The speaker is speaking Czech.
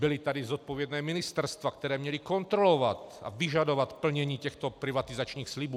Byla tady zodpovědná ministerstva, která měla kontrolovat a vyžadovat plnění těchto privatizačních slibů.